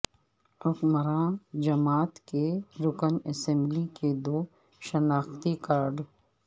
حکمراں جماعت کے رکن اسمبلی کے دو شناختی کارڈ